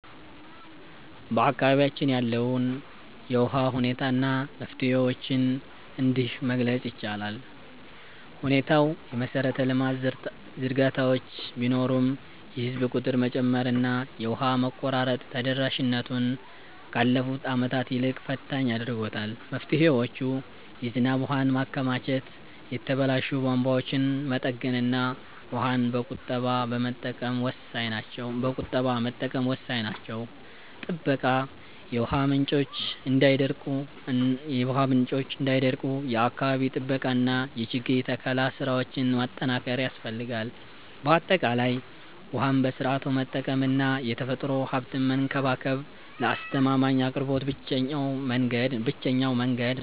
በአካባቢያችን ያለውን የውሃ ሁኔታ እና መፍትሄዎቹን እንዲህ መግለፅ ይቻላል፦ ሁኔታው፦ የመሰረተ ልማት ዝርጋታዎች ቢኖሩም፣ የህዝብ ቁጥር መጨመርና የውሃ መቆራረጥ ተደራሽነቱን ካለፉት ዓመታት ይልቅ ፈታኝ አድርጎታል። መፍትሄዎች፦ የዝናብ ውሃን ማከማቸት፣ የተበላሹ ቧንቧዎችን መጠገንና ውሃን በቁጠባ መጠቀም ወሳኝ ናቸው። ጥበቃ፦ የውሃ ምንጮች እንዳይደርቁ የአካባቢ ጥበቃና የችግኝ ተከላ ስራዎችን ማጠናከር ያስፈልጋል። ባጠቃላይ፣ ውሃን በስርዓቱ መጠቀምና የተፈጥሮ ሀብትን መንከባከብ ለአስተማማኝ አቅርቦት ብቸኛው መንገድ ነው።